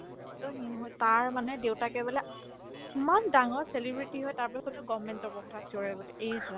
to সি হয় তাৰ মানে দেউতাকে বোলে ইমান ডাঙৰ celebrity হয় তাৰপিছতো government job ৰ কথা চিঞৰে বোলে এহ্ ৰাম